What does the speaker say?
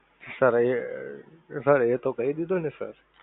sir એ sir એ તો કહી દીધું ને sir